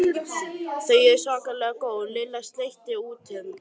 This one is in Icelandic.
Þau eru svakalega góð Lilla sleikti út um.